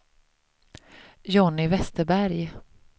Johnny Vesterberg